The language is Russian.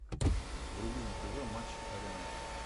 вруби на тв матч арена